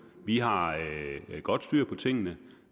vi har godt styr på tingene